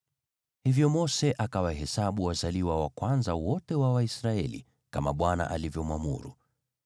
Hivyo Mose akawahesabu wazaliwa wa kwanza wote wa Waisraeli, kama Bwana alivyomwamuru.